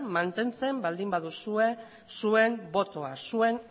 mantentzen baldin baduzue zuen botoa zuen